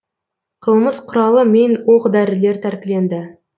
қылмыс құралы мен оқ дәрілер тәркіленді